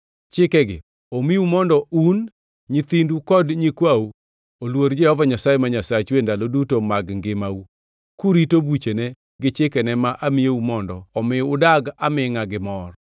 Chikegi omiu mondo un, nyithindu kod nyikwau oluor Jehova Nyasaye ma Nyasachu e ndalo duto mag ngimau kurito buchene gi chikene ma amiyou mondo omi udag amingʼa gi mor.